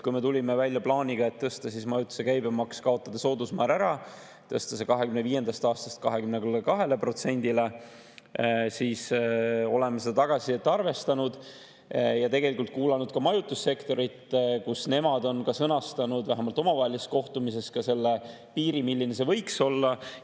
Kui me tulime välja plaaniga tõsta majutuse käibemaksu, kaotada soodusmäär ära, tõsta see 2025. aastast 22%‑le, siis arvestasime saadud tagasisidet ja tegelikult kuulasime ka majutussektori, kes sõnastasid, vähemalt omavahelises kohtumises, ka selle piiri, see võiks olla.